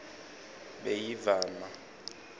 beyivama